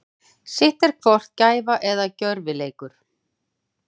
Sitt er hvort gæfa eða gjörvileikur.